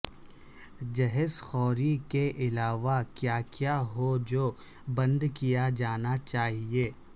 جہیز خوری کے علاوہ کیا کیا ہے جو بند کیا جانا چاہیے